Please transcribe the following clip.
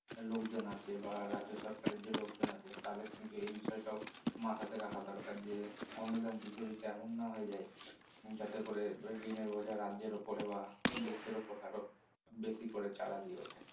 লোকজন আছে বা রাজ্য সরকারি যে লোকজন আছে তাদের কিন্তু এই বিষয়টাও মাথাতে রাখার দরকার যে অনুদান দিতে দিতে এমন না হয়ে যায় যাতে করে ঋণের বোঝা রাজ্যের উপরে বা দেশের উপরে আরো বেশি করে চারা দিয়ে উঠে